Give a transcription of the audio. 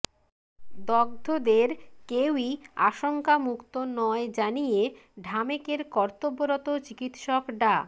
দগ্ধদের কেউই আশঙ্কামুক্ত নয় জানিয়ে ঢামেকের কর্তব্যরত চিকিৎসক ডা